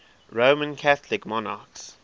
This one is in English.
roman catholic monarchs